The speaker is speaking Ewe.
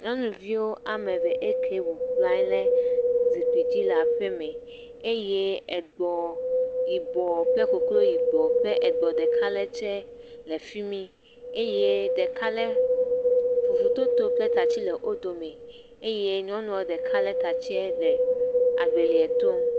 Nyɔnuvi ame eve eke bɔbɔnɔ zikpui dzi le aƒe me, eye egbɔ yibɔ kple koklo yibɔ kple egbɔ ɖeka le tse le fi mi eye ɖeka lé fufu to to kple tatsi le wo dome eye nyɔnua ɖeka lé tatsia le agbelia tom.